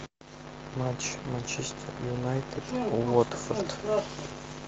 матч манчестер юнайтед уотфорд